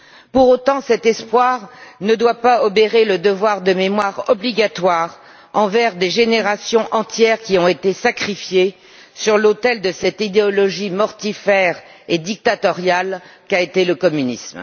Pour autant, cet espoir ne doit pas obérer le devoir de mémoire obligatoire envers des générations entières qui ont été sacrifiées sur l'autel de cette idéologie mortifère et dictatoriale qu'a été le communisme.